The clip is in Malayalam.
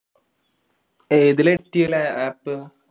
ഏതിലാ edit ചെയ്യല്? app?